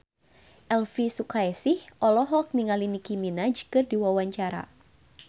Elvi Sukaesih olohok ningali Nicky Minaj keur diwawancara